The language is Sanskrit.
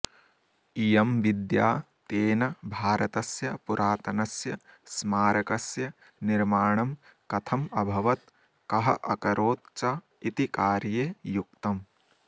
इयं विद्या तेन भारतस्य पुरातनस्य स्मारकस्य निर्माणं कथम् अभवत् कः अकरोत् च इति कार्ये युक्तम्